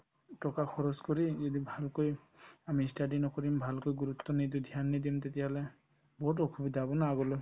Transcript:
টকা খৰচ কৰি এদিন ভালকৈ আমি ই study নকৰিম ভালকৈ গুৰুত্ব নিদি ধ্যান নিদিম তেতিয়াহ'লে বহুত অসুবিধা হ'ব না আগলৈ